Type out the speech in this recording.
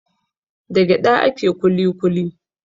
Da gyaɗa ake kuli kuli.